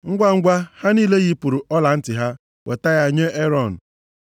Ngwangwa, ha niile yipụrụ ọlantị ha weta ha nye Erọn.